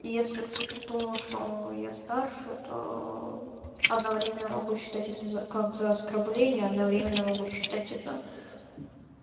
если кто-то думал что я старше то одновременно могу считать это за как за оскорбление одновременно могут считать это